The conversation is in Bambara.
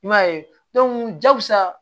I m'a ye jakusa